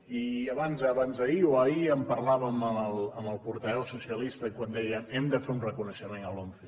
i abans d’ahir o ahir en parlàvem amb el portaveu socialista quan deia hem de fer un reconeixement a l’once